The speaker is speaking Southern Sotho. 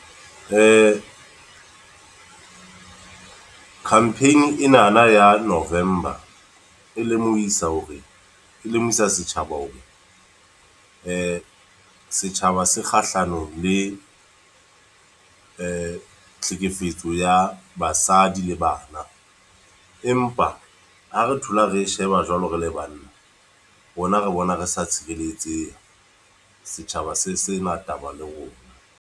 Campaign e na na ya November. E lemohisa hore, e lemohisa setjhaba hore, setjhaba se kgahlano le tlhekefetso ya basadi le banna. Empa ha re thola re sheba jwalo re le banna, rona re bona re sa tshireletsehe, setjhaba se sena taba le rona.